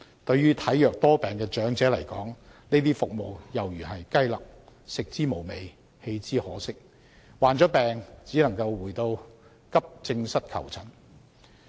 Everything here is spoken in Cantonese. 對於體弱多病的長者來說，這些服務猶如雞肋，食之無味，棄之可惜，患病只能回到急症室求診。